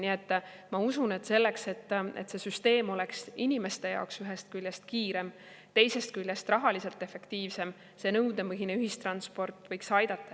Nii et ma usun, et selleks, et see süsteem oleks inimeste jaoks ühest küljest kiirem, teisest küljest rahaliselt efektiivsem, see nõudepõhine ühistransport võiks kaasa aidata.